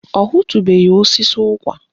Ọ hụtubeghi osisi ụkwa